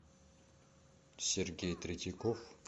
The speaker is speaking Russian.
сергей третьяков